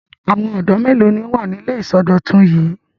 Àwọn ọ̀dọ́ mélòó ni ó wà ní ilé ìsọdọ̀tun yìí?